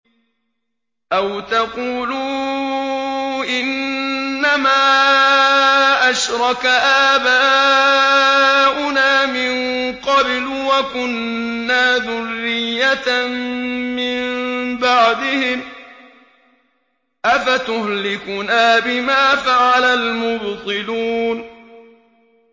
أَوْ تَقُولُوا إِنَّمَا أَشْرَكَ آبَاؤُنَا مِن قَبْلُ وَكُنَّا ذُرِّيَّةً مِّن بَعْدِهِمْ ۖ أَفَتُهْلِكُنَا بِمَا فَعَلَ الْمُبْطِلُونَ